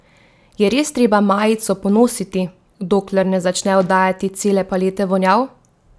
Je res treba majico ponositi, dokler ne začne oddajati cele palete vonjav?